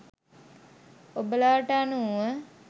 ඔබලාට අනුව